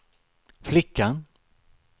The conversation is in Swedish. flickan